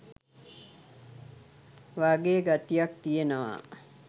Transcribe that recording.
වගේ ගතියක් තියෙනවා.